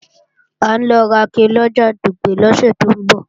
À ń lọ rake lọjà Dùgbẹ̀ lọ́sẹ̀ tó ń bọ̀